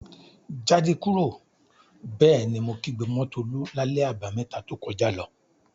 "Jáde kúrò!" Bẹ́ẹ̀ ni mo kígbe mọ́ Tolú lálẹ́ Àbàmẹ́ta to kọjá lọ.